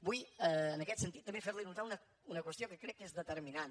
vull en aquest sentit també fer li notar una qüestió que crec que és determinant